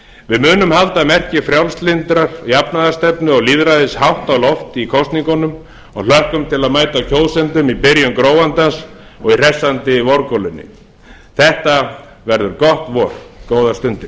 við munum halda merki frjálslyndrar jafnaðarstefnu og lýðræðis hátt á loft í kosningunum og hlökkum til að mæta kjósendum í byrjun gróandans og í hressandi vorgolunni þetta verður gott vor góðar stundir